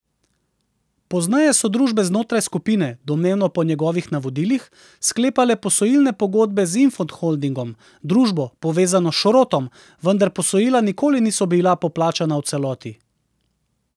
Pozneje so družbe znotraj skupine, domnevno po njegovih navodilih, sklepale posojilne pogodbe z Infond Holdingom, družbo, povezano s Šrotom, vendar posojila nikoli niso bila poplačana v celoti.